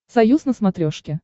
союз на смотрешке